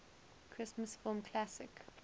christmas film classic